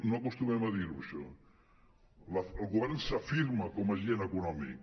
no acostumem a dir ho això el govern s’afirma com a agent econòmic